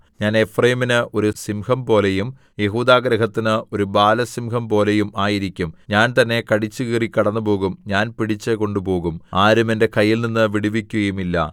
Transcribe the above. ഞാൻ എഫ്രയീമിന് ഒരു സിംഹംപോലെയും യെഹൂദാഗൃഹത്തിന് ഒരു ബാലസിംഹംപോലെയും ആയിരിക്കും ഞാൻ തന്നെ കടിച്ചുകീറി കടന്നുപോകും ഞാൻ പിടിച്ചു കൊണ്ടുപോകും ആരും എന്റെ കയ്യിൽനിന്ന് വിടുവിക്കുകയുമില്ല